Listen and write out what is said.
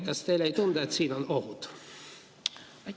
Kas teile ei tundu, et siin on ohud?